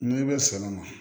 N'i bɛ sɔn o ma